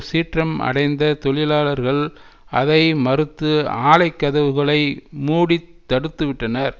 சீற்றம் அடைந்த தொழிலாளர்கள் அதை மறுத்து ஆலைக் கதவுகளை மூடி தடுத்துவிட்டனர்